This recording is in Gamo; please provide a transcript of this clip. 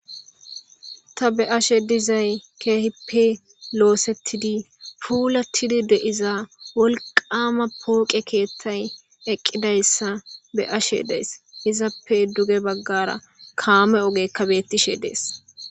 ta be'ashe dizay keehippe loosettidi puulatidi deiza wolqama pooqe keethtay eqqidayssa be ashe dees izappe duge baggara kaame ogekka bettishe dees